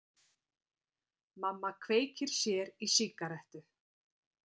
Mamma kveikir sér í sígarettu.